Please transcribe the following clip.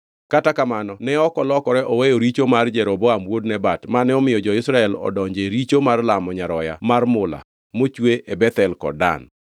Kata kamano ne ok olokore oweyo richo mar Jeroboam wuod Nebat, mane omiyo jo-Israel odonje richo mar lamo nyaroya mar mula mochwe e Bethel kod Dan.